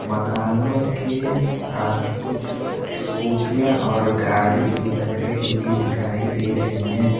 मकानो के पास कुछ स्कूटिया और गाड़ी भी लगाई हुई दिखाई दे रही हैं।